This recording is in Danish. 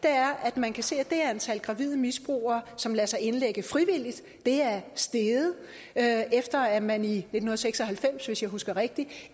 er at man kan se at det antal gravide misbrugere som lader sig indlægge frivilligt er steget efter at man i nitten seks og halvfems hvis jeg husker rigtigt